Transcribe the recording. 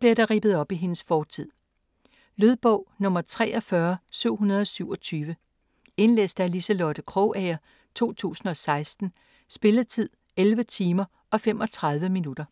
bliver der rippet op i hendes fortid. Lydbog 43727 Indlæst af Liselotte Krogager, 2016. Spilletid: 11 timer, 35 minutter.